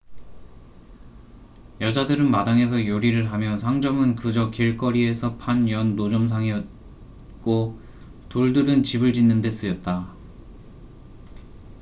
여자들은 마당에서 요리를 하며 상점은 그저 길거리에서 판을 연 노점상이었고 돌들은 집을 짓는 데 쓰였다